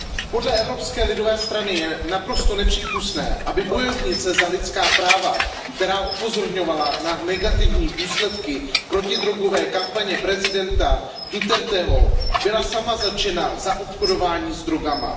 Podle Evropské lidové strany je naprosto nepřípustné, aby bojovnice za lidská práva, která upozorňovala na negativní důsledky protidrogové kampaně prezidenta Duterteho, byla sama zatčena za obchodování s drogami.